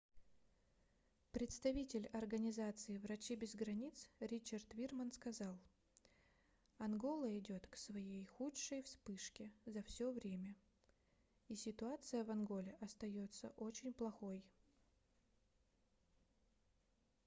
представитель организации врачи без границ ричард вирман сказал ангола идёт к своей худшей вспышке за всё время и ситуация в анголе остаётся очень плохой